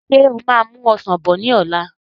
Ṣé o máa mú Ọsàn bọ̀ ni ọ̀la?